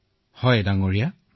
নিশ্চয় মহোদয়